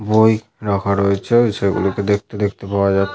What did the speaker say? বই রাখা রয়েছে এইছেলে গুলোকে দেখতে দেখতে পাওয়া যা--